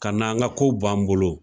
Kan'an ka ko bɔ an bolo